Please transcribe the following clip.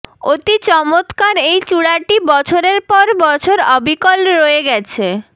অতি চমৎকার এই চূড়াটি বছরের পর বছর অবিকল রয়ে গেছে